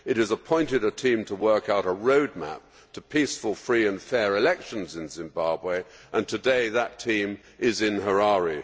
It has appointed a team to work out a road map to peaceful, free and fair elections in Zimbabwe, and today, that team is in Harare.